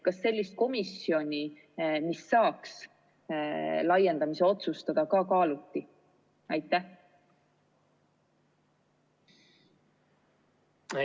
Kas sellise komisjoni loomist, mis saaks laiendamise üle otsustada, ka kaaluti?